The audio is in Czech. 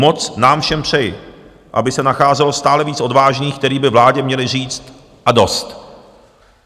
Moc nám všem přeji, aby se nacházelo stále více odvážných, kteří by vládě uměli říct: A dost!